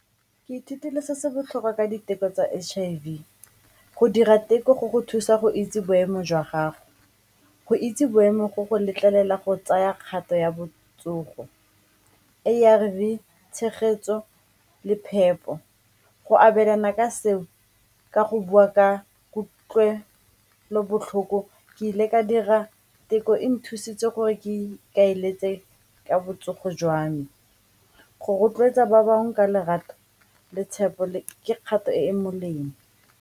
Ke ithutile se se botlhokwa ka diteko tsa H_I_V, go dira teko go go thusa. Go itse boemo jwa gago go itse boemo go go letlelela go tsaya kgato ya botsogo, A_R_V, tshegetso le phepo. Go abelana ka seo ka go bua ka kutlwelobotlhoko ke ile ka dira theko e nthusitse gore ke kaeletse ka botsogo jwa me, go rotloetsa ba bangwe ka lerato le tshepo le ke kgato e e molemo.